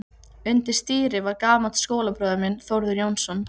Undir stýri var gamall skólabróðir minn, Þórður Jónsson.